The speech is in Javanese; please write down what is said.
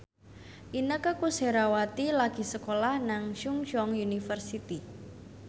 Inneke Koesherawati lagi sekolah nang Chungceong University